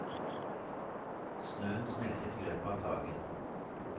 Snøen smeltet i løpet av dagen.